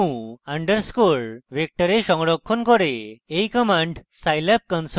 এই command scilab console দিন এবং output যাচাই করুন